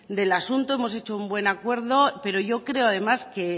del asunto hemos hecho un buen acuerdo pero yo creo además que